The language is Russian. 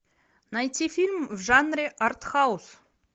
найти фильм в жанре артхаус